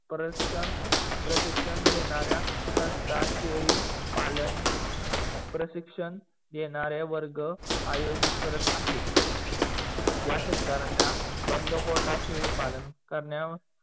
प्रशिक्षण घेणाऱ्या संस्था, शेडीपालन प्रशिक्षण देणारे वर्ग आयोजित करत आहेत. या सत्कारांना बंदमोठा शेळीपालन करण्या